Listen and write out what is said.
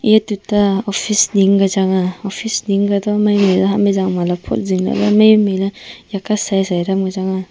e tuta office Ning ku changa office Ning ku tha mai mai ja ha mijang ma lap phot jingla le mai mai le ika saisai dang wai changa.